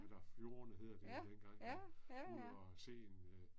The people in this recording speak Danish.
Ja. Ja. Ja, ja